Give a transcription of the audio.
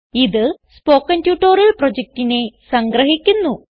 ഇത് spoken tutorial പ്രൊജക്റ്റിനെ സംഗ്രഹിക്കുന്നു